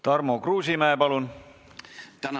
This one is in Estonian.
Tarmo Kruusimäe, palun!